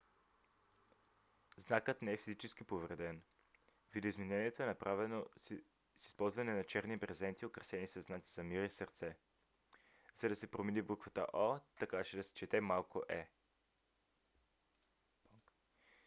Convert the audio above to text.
знакът не е физически повреден; видоизменението е направено с използване на черни брезенти украсени със знаци за мир и сърце за да се промени буквата о така че да се чете малко е